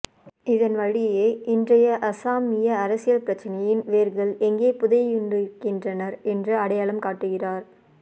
இதன்வழியே இன்றைய அஸ்ஸாமிய அரசியல் பிர்ச்சனையின் வேர்கள் எங்கே புதையுண்டிருக்கின்றன என்று அடையாளம் காட்டுகிறார்